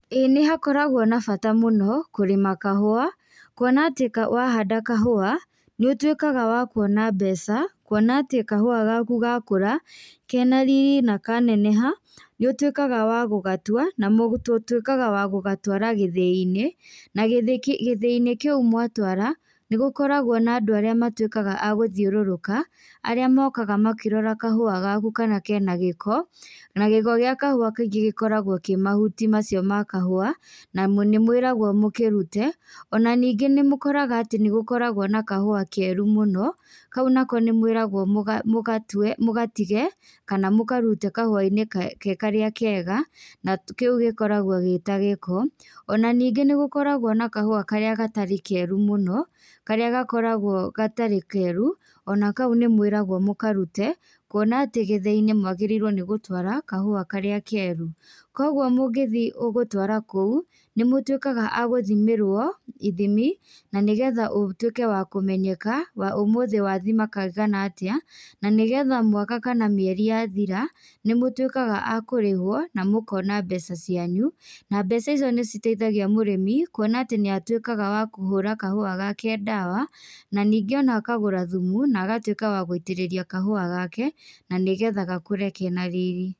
Ĩĩ nĩhakoragwo na bata mũno, kũrĩma kahũa, kuona atĩ ka wahanda kahũa, nĩũtuĩkaga wakuona mbeca, kuona atĩ kahũa gaku gakũra, kena riri nakaneneha, nĩũtuĩkaga wa gũgatua, na mũg tũtuĩkaga a gũgatwara gĩthĩinĩ, na gĩthĩi gĩthĩinĩ kĩu mwatwara, nĩgũkoragwo na andũ arĩa matuĩkaga agũthiũrũrũka, arĩa mokaga makĩroraga kahũa gaku kana kena gĩko, na gĩko gĩa kahũa kaingĩ gĩkoragwo kĩ mahuti macio ma kahũa, nanĩmũĩragwo mũkĩrute, ona ningĩ nĩmũkoraga atĩ nĩgũkoragwo na kahua keru mũno, kau nako nĩmwĩragwo mũga mũgatwe, mũgatige, kana mũkaruta kahũainĩ ke karĩa kega, na kĩu gĩkorogwo gĩ tagĩko, ona ningĩ nĩgũkoragwo na kahũa karĩa gatarĩ keru mũno, karĩa gakoragwo gatarĩ keru, ona kau nĩmwĩragwo mũkarute, kuona atĩ gĩthĩinĩ mwagĩrĩirwo nĩ gũtwara kahũa karĩa keru. Koguo mũngĩthiĩ ũgũtwara kũu, nĩmũtuĩkaga a gũthimĩrwo, ithimi, na nĩgetha ũtuĩke wa kũmenyeka, ũmũthĩ wathima kaigana atĩa, na nĩgetha mwaka kana mĩeri yathira, nĩmũtuĩkaga a kũrĩhwo, na mũkona mbeca cianyu, na mbeca icio nĩciteithagia mũrĩmi, kuona atĩ nĩatuĩkaga wa kũhũra kahua gake ndawa, na ningĩ akagũra thumu, na agatuĩka wa gwiitĩrĩria kahũa gake, na nĩgetha gakũre kena riri.